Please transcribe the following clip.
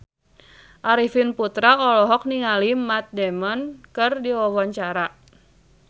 Arifin Putra olohok ningali Matt Damon keur diwawancara